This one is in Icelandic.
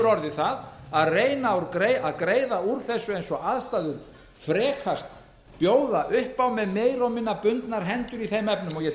orðið það að reyna að greiða úr þessu eins og aðstæður frekast bjóða upp á með meira og minna bundnar hendur í þeim efnum og ég